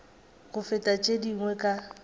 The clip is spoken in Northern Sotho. go feta tše dingwe ka